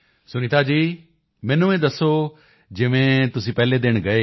ਸੁਨੀਤਾ ਜੀ ਮੈਨੂੰ ਇਹ ਦੱਸੋ ਕਿ ਜਿਵੇਂ ਤੁਸੀਂ ਪਹਿਲੇ ਦਿਨ ਗਏ